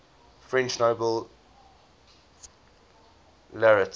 french nobel laureates